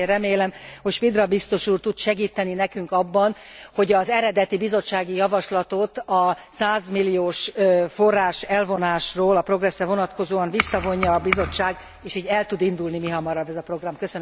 Őszintén remélem, hogy Špidla biztos úr tud segíteni nekünk abban, hogy az eredeti bizottsági javaslatot, a 100 milliós forrás elvonásról a Progresszre vonatkozóan visszavonja a Bizottság, és így el tud indulni mihamarabb ez a program.